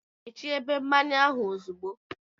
Mechie ebe mmanya ahụ ozugbo!